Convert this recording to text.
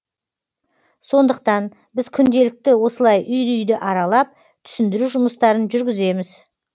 сондықтан біз күнделікті осылай үй үйді аралап түсіндіру жұмыстарын жүргіземіз